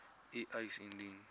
u eis indien